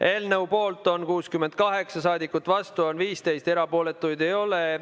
Eelnõu poolt on 68 saadikut, vastu on 15, erapooletuid ei ole.